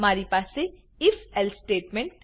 મારી પાસે if else statement